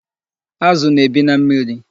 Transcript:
Azụ na-ebi na mmiri.